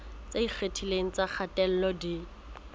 tse ikgethileng tsa kgatello di